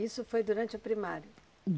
Isso foi durante a primária?